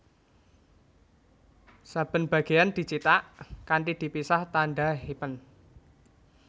Saben bagéyan dicithak kanthi dipisah tandha hyphen